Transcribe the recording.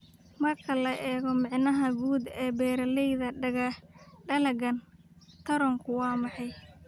"Marka la eego macnaha guud ee beeralayda, dalaggan ratoonku ma yahay."